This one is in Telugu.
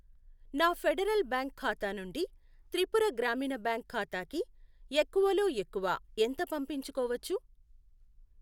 నా ఫెడరల్ బ్యాంక్ ఖాతా నుండి త్రిపుర గ్రామీణ బ్యాంక్ ఖాతాకి ఎక్కువలఎక్కువ ఎంత పంపించుకోవచ్చు?